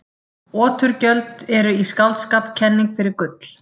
oturgjöld eru í skáldskap kenning fyrir gull